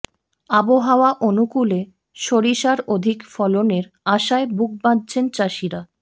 আবহাওয়া অনুকূলে সরিষার অধিক ফলনের আশায় বুক বাঁধছেন চাষিরা